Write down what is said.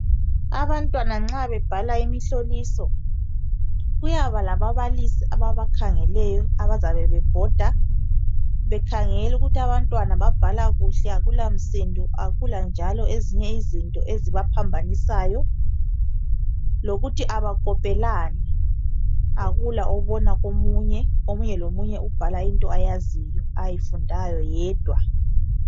Abantwana nxa bebhala imihloliso, kuyaba lababalisi ababakhangeleyo abayabe bebhoda bekhangela ukuthi akula msindo akula yini ezinye izinto ezibaphambanisayo, lokuthi abakopelani, akula obona komunye omunye lomunye ubhala into ayaziyo ayifundayo yedwa.